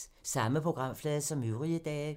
Samme programflade som øvrige dage